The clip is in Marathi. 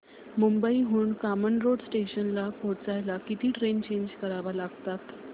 मुंबई हून कामन रोड स्टेशनला पोहचायला किती ट्रेन चेंज कराव्या लागतात